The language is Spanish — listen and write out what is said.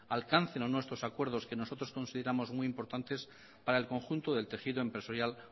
alcancen o no estos acuerdos que nosotros consideramos muy importantes para el conjunto del tejido empresarial